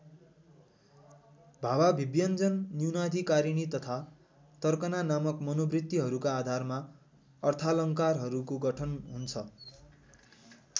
भावाभिव्यञ्जन न्यूनाधिकारिणी तथा तर्कना नामक मनोवृत्तिहरूका आधारमा अर्थालङ्कारहरूको गठन हुन्छ।